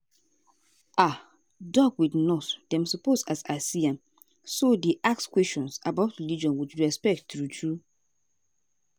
ah doc with nurse dem suppose as i see am so dey ask questions about religion with respect true true.